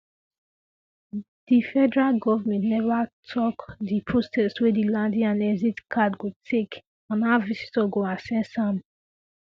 di federal govment neva tok di process wey di landing and exit card go take and how visitor go access am